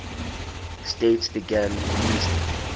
states began using